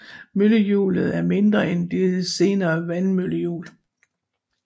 Møllehjulet er mindre end de senere vandmøllehjul